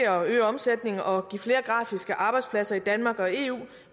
at øge omsætningen og give flere grafiske arbejdspladser i danmark og i eu